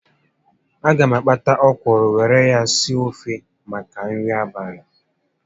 A ga m akpata ọkwụrụ were ya sie ofe maka nri abalị